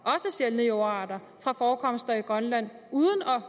sjældne jordarter fra forekomster i grønland uden